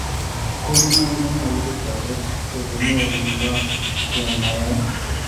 Kanunoik konyolu kotoret elenyolundo ke ne yaaye